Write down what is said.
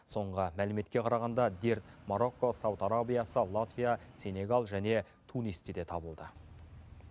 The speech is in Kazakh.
соңғы мәліметке қарағанда дерт марокко сауд арабиясы латвия сенегал және тунисте де табылды